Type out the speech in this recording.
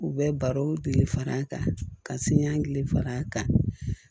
U bɛ barow gile far'a kan ka siɲɛ gili far'a kan